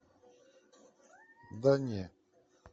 да не